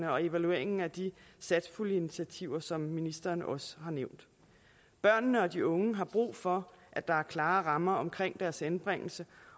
og evalueringen af de satspuljeinitiativer som ministeren også har nævnt børnene og de unge har brug for at der er klare rammer omkring deres anbringelse